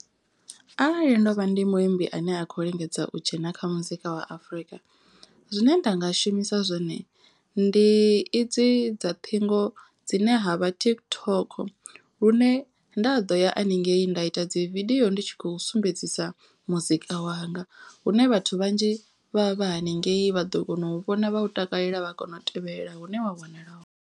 Arali ndo vha ndi muimbi ane a kho lingedza u dzhena kha muzika wa Afrika. Zwine nda nga shumisa zwone ndi idzi dza ṱhingo dzine ha vha TikTok. Lune nda ḓo ya haningei nda ita dzi vidio ndi tshi khou sumbedzisa muzika wanga. Hune vhathu vhanzhi vha vha vha haningei vha ḓo kona u vhona vha u takalela vha kona u tevhelela hune wa wanala hone.